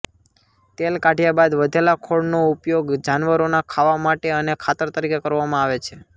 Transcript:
તેલ કાઢ્યા બાદ વધેલા ખોળનો ઉપયોગ જાનવરોના ખાવા માટે અને ખાતર તરીકે કરવામાં આવે છે